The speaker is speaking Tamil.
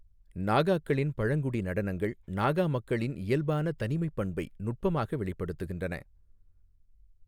நாகாக்களின் பழங்குடி நடனங்கள் நாகா மக்களின் இயல்பான தனிமைப் பண்பை நுட்பமாக வெளிப்படுத்துகின்றன.